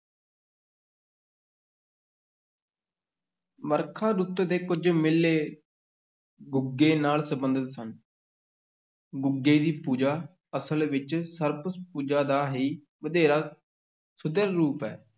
ਵਰਖਾ ਰੁੱਤ ਦੇ ਕੁਝ ਮੇਲੇ ਗੁੱਗੇ ਨਾਲ ਸੰਬੰਧਿਤ ਸਨ ਗੁੱਗੇ ਦੀ ਪੂਜਾ ਅਸਲ ਵਿੱਚ ਸਰਪ-ਪੂਜਾ ਦਾ ਹੀ ਵਧੇਰਾ ਸੁਧਰਿਆ ਰੂਪ ਹੈ।